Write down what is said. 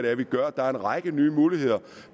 er vi gør der er en række nye muligheder